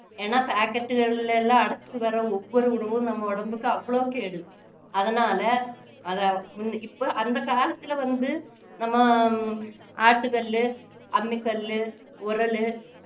ஏன்னா packet களில எல்லாம் அடைச்சு வர்ற ஒவ்வொரு உணவும் நம்ம உடம்புக்கு அவ்வளவு கேடு அதனால அதை முன்~ இப்போ அந்த காலத்துல வந்து நம்ம அஹ் ஆட்டுகல்லு அம்மிக்கல்லு உரலு